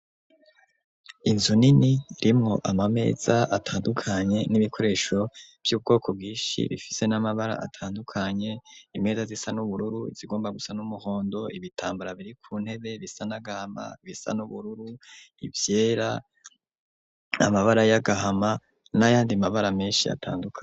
Inzu nini rimwo amameza atandukanye n'ibikoresho vy'ubwoko bwishi bifise n'amabara atandukanye imeza zisa n'ubururu izigomba gusa n'umuhondo ibitambara biri ku ntebe bisa n'agahama, ibisa n'ubururu ivyera, amabara y'agahama n'ayandi mabara menshi atandukane.